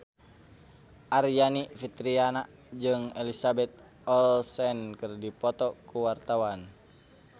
Aryani Fitriana jeung Elizabeth Olsen keur dipoto ku wartawan